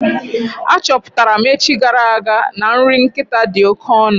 A chọpụtara m echi gara aga na nri nkịta dị oké ọnụ.